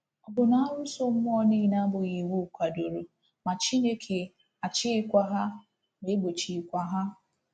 Ọ̀ bụ na arụsọ mmụọ niile abụghị iwu kwadoro, ma Chineke achịkwaghị ha ma gbochikwaghị ha?